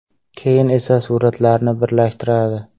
Keyin esa suratlarni birlashtiradi.